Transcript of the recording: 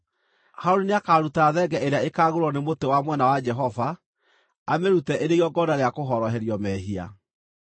Harũni nĩakaruta thenge ĩrĩa ĩkaagũĩrwo nĩ mũtĩ wa mwena wa Jehova, amĩrute ĩrĩ igongona rĩa kũhoroherio mehia.